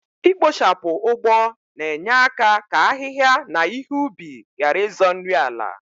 Ikpochapụ ụgbọ na enye aka ka ahịhịa na ihe ubi gharị ịzọ nri ala